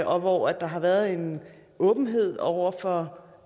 og hvor der har været en åbenhed over for